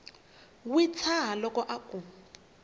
wi tshaha loko a ku